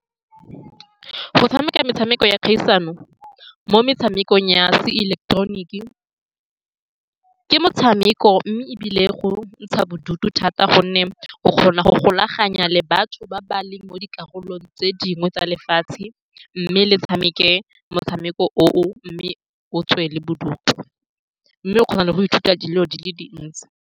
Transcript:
Go tshameka metshameko ya kgaisano mo metshamekong ya seileketeroniki ke motshameko, mme ebile go ntsha bodutu thata, ka gonne o kgona go golagana le batho ba ba leng mo dikarolong tse dingwe tsa lefatshe, mme le tshameke motshameko oo, mme o tswe le bodutu, mme o kgona le go ithuta dilo di le dintsi.